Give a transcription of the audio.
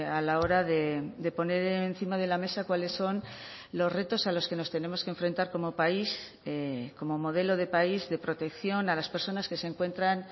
a la hora de poner encima de la mesa cuáles son los retos a los que nos tenemos que enfrentar como país como modelo de país de protección a las personas que se encuentran